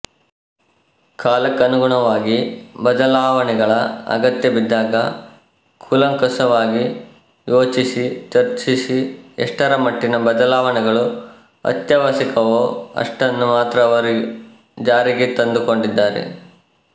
ಕಾಲಕ್ಕನುಗುಣವಾಗಿ ಬದಲಾವಣಿಗಳ ಅಗತ್ಯ ಬಿದ್ದಾಗ ಕೂಲಂಕಷವಾಗಿ ಯೋಚಿಸಿ ಚರ್ಚಿಸಿ ಎಷ್ಟರಮಟ್ಟಿನ ಬದಲಾವಣೆಗಳು ಅತ್ಯಾವಶ್ಯಕವೋ ಅಷ್ಟನ್ನು ಮಾತ್ರ ಅವರು ಜಾರಿಗೆ ತಂದುಕೊಂಡಿದ್ದಾರೆ